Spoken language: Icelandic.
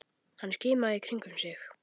Hann skimaði í kringum sig.